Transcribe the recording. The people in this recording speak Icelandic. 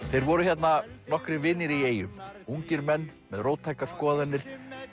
þeir voru hérna nokkrir vinir í eyjum ungir menn með róttækar skoðanir